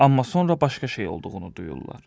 Amma sonra başqa şey olduğunu duyurlar.